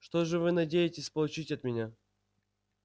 что же вы надеетесь получить от меня